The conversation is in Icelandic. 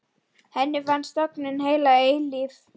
Henni finnst vera þögn heila eilífð.